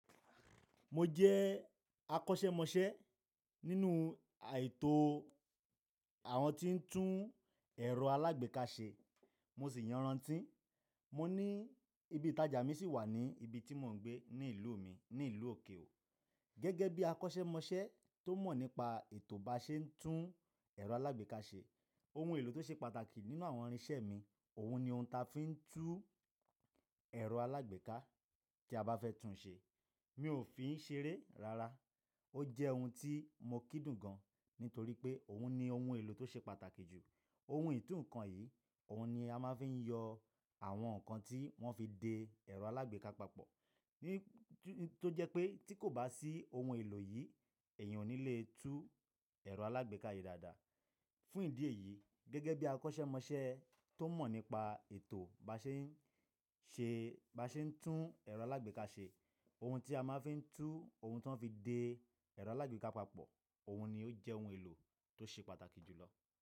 Mo jẹ́ akọ́ṣẹ́mọṣẹ́ nínú ètò àwọn tí ń tún ẹ̀rọ alágbèéká ṣe, mo sì yanrantí. Mo ní ibi ìtajà mi sì wà ní ibi tí mò ń gbé ní ìlú mi, ní ìlú òkè ò. Gẹ́gẹ́ bí akọ́ṣẹ́mọṣẹ́ tó mọ̀ nípa ètò bá ṣe ń tún ẹ̀rọ alágbèéká ṣe, ohun èlò tó ṣe pàtàkì nínú àwọn irinṣẹ́ mi, òun ni ohun ta fi ń tún ẹ̀rọ alágbèéká tí a bá fẹ́ tún ṣe. Mi ò fi ń ṣe eré rara. Ó jẹ́ ohun tí mo kí dùn gan, nítorí pé òun ni ohun èlò tó ṣe pàtàkì jù. Ohun ìtú nǹkan yìí, òun ni a máa fi ń yọ àwọn nǹkan tí wọ́n fi de ẹ̀rọ alágbèéká papọ̀. Tó jẹ́ pé tí kò bá sí ohun èlò yìí, ẹ̀yin ò ní lè tún ẹ̀rọ alágbèéká yìí dáadáa. Fún ìdí èyí, gẹ́gẹ́ bí akọ́ṣẹ́mọṣẹ́ tó mọ̀ nípa ètò bá ṣe ń tún ẹ̀rọ alágbèéká ṣe, ohun tí a máa fi ń tú ohun tí wọ́n fi de ẹ̀rọ alágbèéká papọ̀, òun ni ó jẹ́ ohun èlò tó ṣe pàtàkì jù lọ.